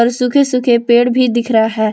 सुखे सूखे पेड़ भी दिख रहा है।